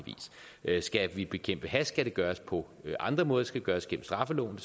vis skal vi bekæmpe hash skal det gøres på andre måder det skal gøres gennem straffeloven